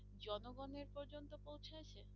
জনগণের পর্যন্ত পৌঁছেছে?